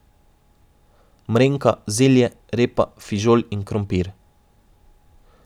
Mrenka, zelje, repa, fižol in krompir.